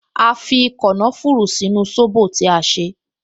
A fi kànáfùrù sínú sóbò tí a ṣe